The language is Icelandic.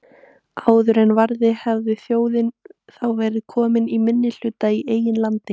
Áður en varði hefði þjóðin þá verið komin í minnihluta í eigin landi.